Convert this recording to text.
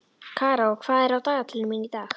Karó, hvað er á dagatalinu mínu í dag?